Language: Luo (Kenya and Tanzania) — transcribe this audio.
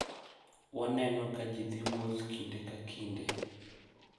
Waneno ka ji dhi wuoth ​​kinde ka kinde.